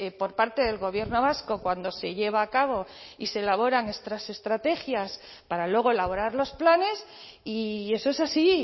por parte del gobierno vasco cuando se lleva a cabo y se elaboran estas estrategias para luego elaborar los planes y eso es así